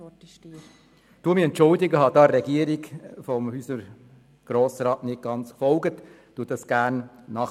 der SiK. Ich entschuldige mich, ich hole das gerne nach.